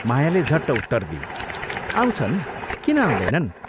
मायाले झट्ट उत्तर दिई, "आउँछन् किन आउँदैनन्।